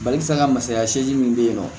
Balikisɛ ŋa masaya seegin min bɛ yen nɔ